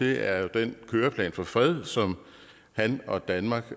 er jo den køreplan for fred som han og danmark